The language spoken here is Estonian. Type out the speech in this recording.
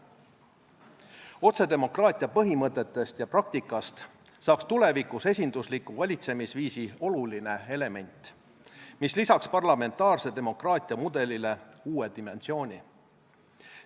Otsedemokraatia põhimõtetest ja praktikast saaks tulevikus esindusliku valitsemisviisi oluline element, mis lisaks parlamentaarse demokraatia mudelile uue dimensiooni.